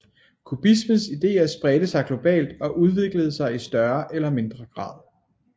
Kubismens idéer spredte sig globalt og udviklede sig i større eller mindre grad